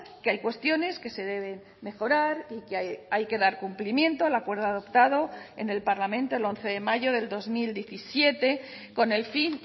que hay cuestiones que se deben mejorar y que hay que dar cumplimiento al acuerdo adoptado en el parlamento el once de mayo del dos mil diecisiete con el fin